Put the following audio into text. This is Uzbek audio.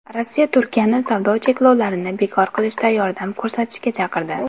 Rossiya Turkiyani savdo cheklovlarini bekor qilishda yordam ko‘rsatishga chaqirdi.